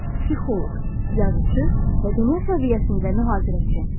Psixoloq, yazıçı və dünya səviyyəsində mühazirəçi.